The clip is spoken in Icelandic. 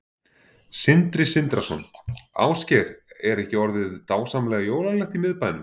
Sindri Sindrason: Ásgeir, er ekki orðið dásamlega jólalegt í miðbænum?